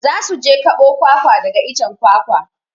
Za su je kaɓo kwakwa daga icen kwakwa.